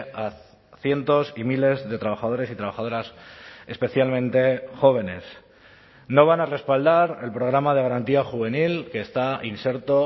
a cientos y miles de trabajadores y trabajadoras especialmente jóvenes no van a respaldar el programa de garantía juvenil que está inserto